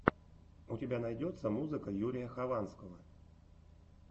у тебя найдется музыка юрия хованского